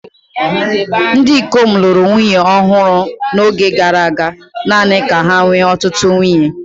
Ndị ikom lụrụ nwunye ọhụrụ n'oge gara aga, naanị ka ha nwee ọtụtụ ụmụ.